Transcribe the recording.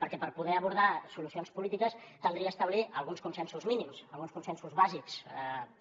perquè per poder abordar solucions polítiques caldria establir alguns consensos mínims alguns consensos bàsics